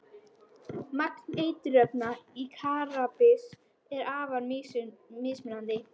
Magn eiturefna í kannabis er afar mismunandi.